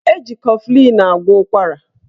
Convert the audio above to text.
Eji kọflịn agwọ ụkwara